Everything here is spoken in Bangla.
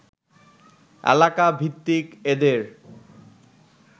এলাকাভিত্তিক এদের